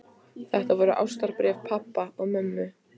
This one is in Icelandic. Þetta voru ástarbréf pabba og mömmu.